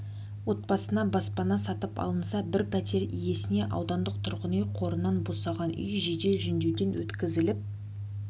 отбасына баспана сатып алынса бір пәтер иесіне аудандық тұрғын үй қорынан босаған үй жедел жөндеуден өткізіліп